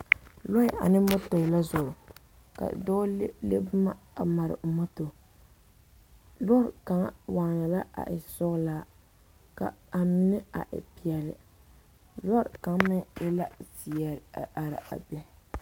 Lɔɛ ane mɔtori la zoro ka dɔɔ le le boma a mare a mɔto boŋkaŋa waana la a e sɔgelaa ka a mine a e peɛle lɔre kaŋ meŋ e la zeɛ a are a be